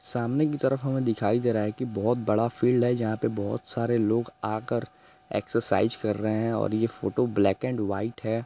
सामने की तरफ हमे दिखाई दे रहा हे की बहोत बड़ा फील्ड हे जहाँ पे बहोत सारे लोग आ कर एकसेरसाइज़ कर रहे हें और ये photo black and white hey.